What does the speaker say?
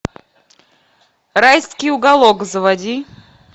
райский уголок заводи